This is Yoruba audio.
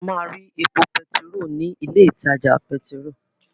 A máa rí epo pẹtiró ní ilé ìtajà pẹtiró.